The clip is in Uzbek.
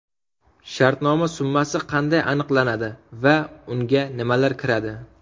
Shartnoma summasi qanday aniqlanadi va unga nimalar kiradi?